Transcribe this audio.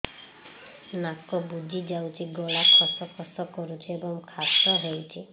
ନାକ ବୁଜି ଯାଉଛି ଗଳା ଖସ ଖସ କରୁଛି ଏବଂ କାଶ ହେଉଛି